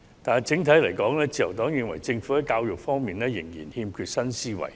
但是，整體而言，自由黨認為政府在教育方面仍然欠缺新思維。